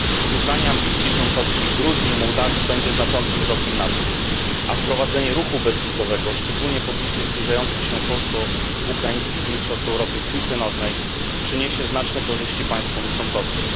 Uznanie ambicji członkowskich Gruzji i Mołdawii będzie znaczącym krokiem naprzód, a wprowadzenie ruchu bezwizowego, szczególnie w obliczu zbliżających się polsko ukraińskich mistrzostw Europy w piłce nożnej, przyniesie znaczne korzyści państwom członkowskim.